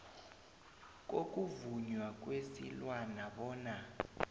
kokuvunywa kwesilwana bona